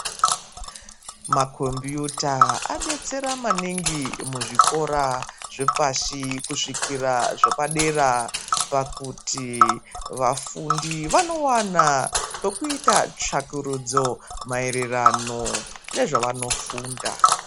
Makombiyuta adetsera maningi muzvikora zvepashi kusvikira zvepadera pakuti vafundi vanowana pekuita tsvakurudzo maerwrano nezvavanofunda.